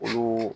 Olu